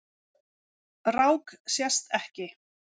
Rák sést ekki.